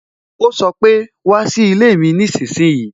O sọ pé "wá sí ilé mi nísinsìnyí"